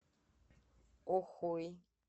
охой